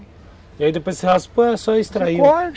E aí depois você raspou ou é só extrair?